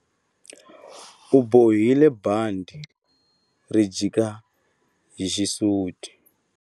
U bohile bandhi ri jika hi xisuti.